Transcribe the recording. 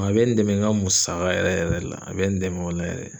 A be n dɛmɛ n ka musaka yɛrɛ yɛrɛ de la, a be n dɛmɛ o la yɛrɛ